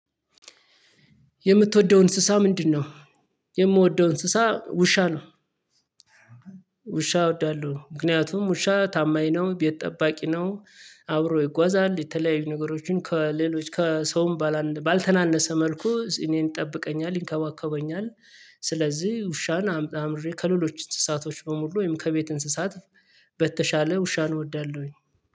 የምትወደው እንስሳ ምንድነው? የምወደው እንስሳ ውሻ ነው። ውሻ እወዳለሁ ምክንያቱም ውሻ ታማኝ ነው ቤት ጠባቂ ነው። አብሮ ይጓዛል የተለያዩ ነገሮችን ከሌሎች ከሰውም ባልተናነሰ መልኩ እኔን ይጠብቀኛል ይንከባከበኛል። ስለዚህ ውሻን አምጣ አምርሬ ከሌሎች እንስሳቶች በሙሉ ወይም ከቤት እንስሳት በተሻለ ውሻን እወዳለሁኝ።